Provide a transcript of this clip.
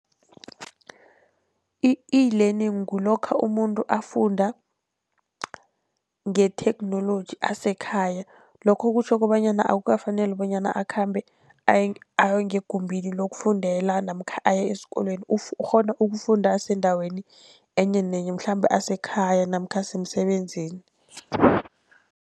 I-eLearning kulokha umuntu afunda ngetheknoloji asekhaya. Lokho kutjho kobanyana akukafaneli bonyana akhambe aye ngegumbini lokufundela namkha aye esikolweni, ukghona ukufunda asendaweni enye nenye mhlambe asekhaya namkha asemsebenzini.